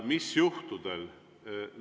Mis juhtudel?